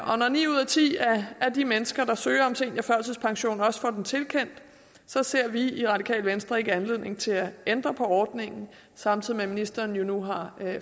og når ni ud af ti af de mennesker der søger om seniorførtidspension også får den tilkendt ser vi i radikale venstre ikke anledning til at ændre på ordningen samtidig med at ministeren jo nu har